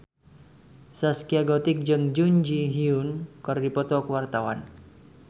Zaskia Gotik jeung Jun Ji Hyun keur dipoto ku wartawan